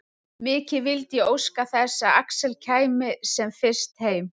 Mikið vildi ég óska þess að Axel kæmi sem fyrst heim.